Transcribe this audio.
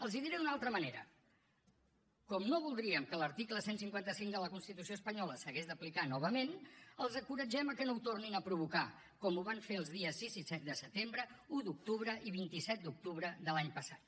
els hi diré d’una altra manera com no voldríem que l’article cent i cinquanta cinc de la constitució espanyola s’hagués d’aplicar novament els encoratgem a que no ho tornin a provocar com ho van fer els dies sis i set de setembre un d’octubre i vint set d’octubre de l’any passat